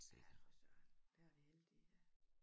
Ja for Søren der er vi heldige ja